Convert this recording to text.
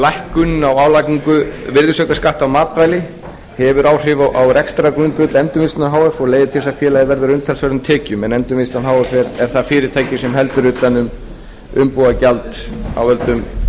lækkun á álagningu virðisaukaskatts á matvæli hefur áhrif á rekstrargrundvöll endurvinnslunnar h f og leiðir til þess að félagið verður af umtalsverðum tekjum en endurvinnslan er það fyrirtæki sem heldur utan um umbúðagjald af völkdum einnota